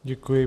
Děkuji.